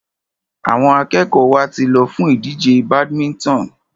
Àwọn akẹ́kọ̀ọ́ wa ti lọ fún ìdíje badminton.